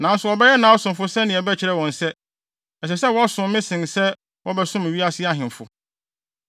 Nanso wɔbɛyɛ nʼasomfo sɛnea ɛbɛkyerɛ wɔn sɛ, ɛsɛ sɛ wɔsom me sen sɛ wɔbɛsom wiase ahemfo.”